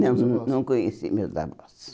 Não, não conheci meus avós.